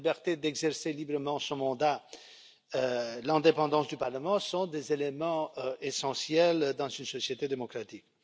La liberté d'exercer librement son mandat et l'indépendance du parlement sont des éléments essentiels dans une société démocratique.